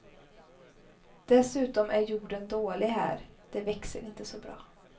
Dessutom är jorden dålig här, det växer inte så bra.